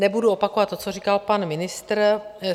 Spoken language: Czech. Nebudu opakovat to, co říkal pan ministr.